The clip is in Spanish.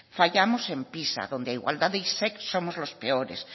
fallamos en pisa donde igualdad e isec somos los peores